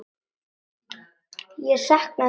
Ég sakna þín svo mikið.